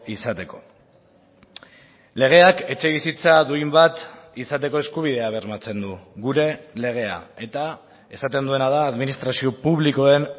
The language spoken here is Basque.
izateko legeak etxebizitza duin bat izateko eskubidea bermatzen du gure legea eta esaten duena da administrazio publikoen